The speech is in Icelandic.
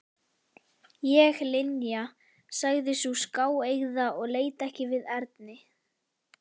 Ég Linja sagði sú skáeygða og leit ekki við Erni.